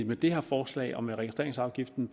med det her forslag og med registreringsafgiften